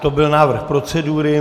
To byl návrh procedury.